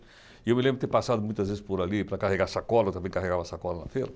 E eu me lembro de ter passado muitas vezes por ali para carregar sacola, eu também carregava sacola na feira.